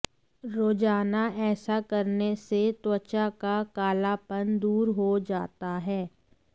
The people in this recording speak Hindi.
रोजाना ऐसा करने से त्वचा का कालापन दूर हो जाता है